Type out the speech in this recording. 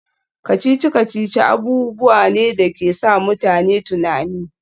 Kacici-kacici abubuwa ne da ke sa mutane tunani